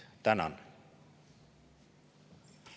Tänan!